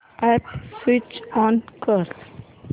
app switch on कर